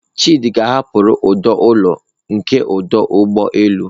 Chidi ka hapụrụ ọdụ ụlọ nke ọdụ ụgbọ elu.